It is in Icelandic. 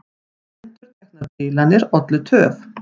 Endurteknar bilanir ollu töf